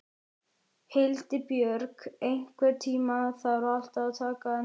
Hildibjörg, einhvern tímann þarf allt að taka enda.